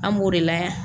An b'o de layɛ